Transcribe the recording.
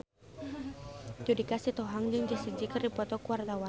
Judika Sitohang jeung Jessie J keur dipoto ku wartawan